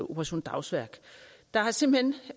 operation dagsværk der er simpelt